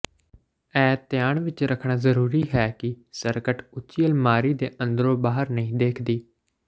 ਇਹ ਧਿਆਨ ਵਿਚ ਰੱਖਣਾ ਜ਼ਰੂਰੀ ਹੈ ਕਿ ਸਕਰਟ ਉੱਚੀ ਅਲਮਾਰੀ ਦੇ ਅੰਦਰੋਂ ਬਾਹਰ ਨਹੀਂ ਦੇਖਦੀ